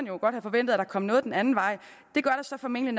jo godt have forventet at der kom noget den anden vej det gør der så formentlig